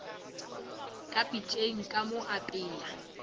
ka pitšeng ka mo apea